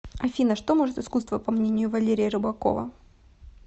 афина что может искусство по мнению валерия рыбакова